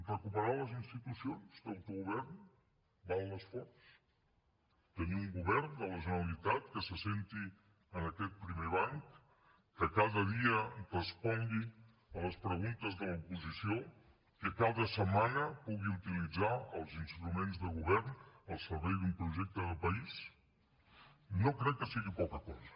recuperar les institucions d’autogovern val l’esforç tenir un govern de la generalitat que s’assegui en aquest primer banc que cada dia respongui les preguntes de l’oposició que cada setmana pugui utilitzar els instruments de govern al servei d’un projecte de país no crec que sigui poca cosa